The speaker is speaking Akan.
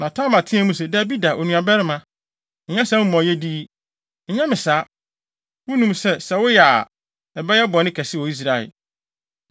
Na Tamar teɛɛ mu se, “Dabi da, onuabarima! Nyɛ saa amumɔyɛde yi! Nyɛ me saa! Wunim sɛ, sɛ woyɛ a, ɛyɛ bɔne kɛse wɔ Israel.